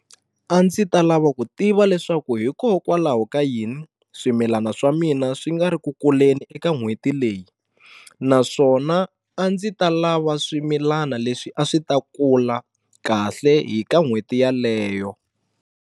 A ndzi ta lava ku tiva leswaku hikokwalaho ka yini swimilana swa mina swi nga ri ku kuleni eka n'hweti leyi naswona a ndzi ta lava swimilana leswi a swi ta kula kahle hi ka n'hweti yaleyo.